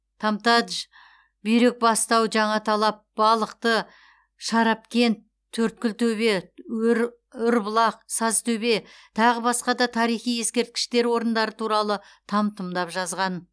тамтадж бүйрекбастау жаңаталап балықты шарапкент төрткүлтөбе ұрбұлақ сазтөбе тағы басқа да тарихи ескерткіштер орындары туралы там тұмдап жазған